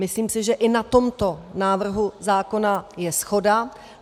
Myslím si, že i na tomto návrhu zákona je shoda.